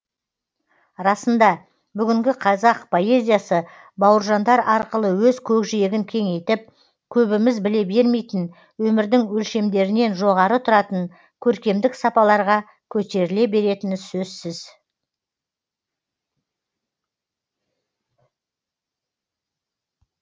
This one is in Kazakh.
расында бүгінгі қазақ поэзиясы бауыржандар арқылы өз көкжиегін кеңейтіп көбіміз біле бермейтін өмірдің өлшемдерінен жоғары тұратын көркемдік сапаларға көтеріле беретіні сөзсіз